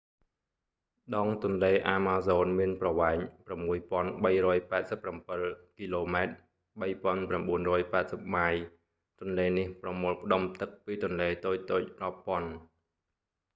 ដងទន្លេអាម៉ាហ្សូនមានប្រវែង 6,387 គីឡូម៉ែត្រ 3,980 ម៉ាយ ទន្លេនេះប្រមូលផ្ដុំទឹកពីទន្លេតូចៗរាប់ពាន់